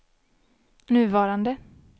nuvarande